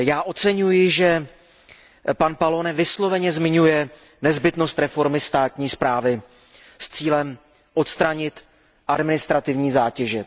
Oceňuji, že pan Pallone výslovně zmiňuje nezbytnost reformy státní správy s cílem odstranit administrativní zátěže.